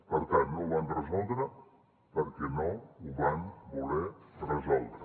per tant no ho van resoldre perquè no ho van voler resoldre